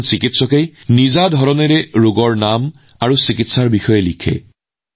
প্ৰতিজন চিকিৎসকে নিজৰ নিজৰ ধৰণেৰে ৰোগৰ নাম আৰু চিকিৎসাৰ পদ্ধতি লিখে